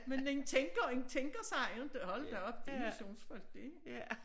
Men en tænker en tænker sig inte hold da op de missionsfolk de